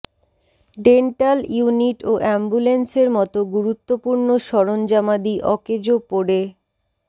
dental unit ও অ্যাম্বুলেন্সের মতো গুরুত্বপূর্ণ সরঞ্জামাদি অকেজো পড়ে